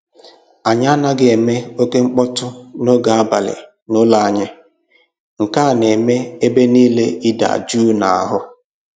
Anyị anaghị eme oke mkpọtụ n'oge abalị n'ụlọ anyị, nke a na-eme ebe niile ịda jụụ n'ahụ